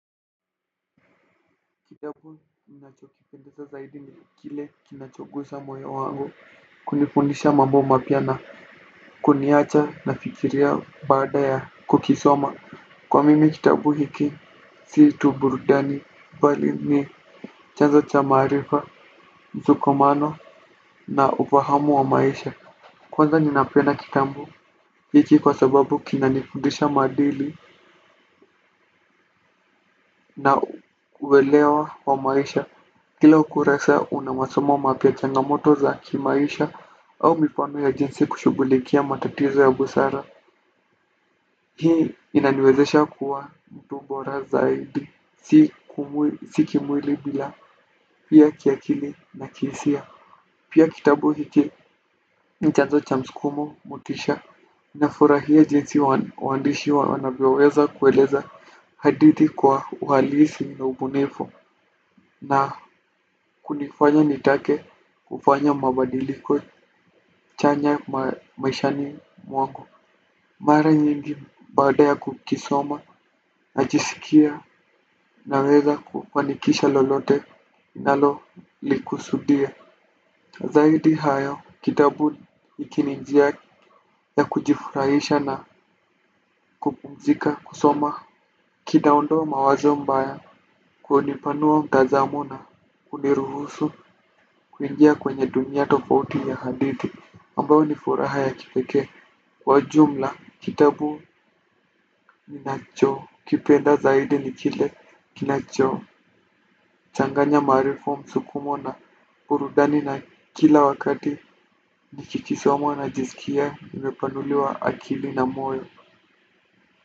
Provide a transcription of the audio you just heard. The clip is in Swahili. Kitabu ninachokikumbuka zaidi ni kile kinachogusa moyo wangu kunifundisha mambo mapya na kuniacha na fikiria baada ya kukisoma. Kwa mimi kitabu hiki si tu burudani mbali ni chanzo cha maarifa, msukumano na ufahamu wa maisha. Kwanza nina penda kitabu hiki kwa sababu kinanifundisha madili na uwelewa wa maisha. Kila ukurasa unamasomo mapya changamoto za kimaisha au mifano ya jinsi kushughulikia matatizo ya busara. Hii inaniwezesha kuwa mtu bora zaidi, si kimwili bila pia kiakili na kihisia. Pia kitabu hiki ni chazo cha mskumo motisha nafurahia jinsi wandishi wanavyoweza kueleza hadithi kwa uhalisi na ubunifu na kunifanya nitake kufanya mabadiliko chanya maishani mwangu. Mara nyingi baada ya kukisoma najisikia naweza kufanikisha lolote nalo likusudia. Zaidi hayo kitabu kina njia ya kujifurahisha na kupumzika kusoma. Kinaondoa mawazo mbaya kwani hunipanua mtazamo na uniruhusu kuingia kwenye dunia tofauti ya hadithi ambayo ni furaha ya kipekee kwa jumla kitabu ninacho kipenda zaidi ni kile kinacho changanya marifa msukumo na burudani na kila wakati nikikisoma najizikia nimepanuliwa akili na moyo.